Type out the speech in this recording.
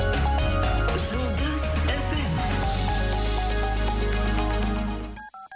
жұлдыз эф эм